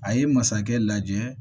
A ye masakɛ lajɛ